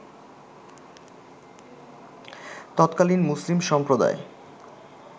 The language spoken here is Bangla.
তৎকালীন মুসলিম সম্প্রদায়